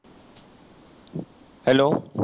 hollow